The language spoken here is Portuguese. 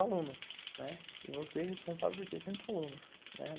alunos, e você responsável por sessenta alunos, né.